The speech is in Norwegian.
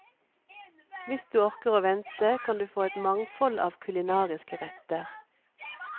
Hvis du orker å vente, kan du kan få et mangfold av kulinariske retter.